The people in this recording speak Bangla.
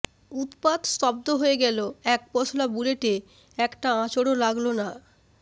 উৎপাত স্তব্ধ হয়ে গেল এক পশলা বুলেটে একটা আঁচড়ও লাগল না